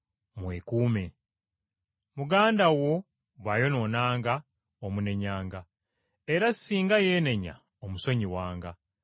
Mwekuume. “Muganda wo bw’ayonoonanga, omunenyanga; era singa yeenenya omusonyiwanga.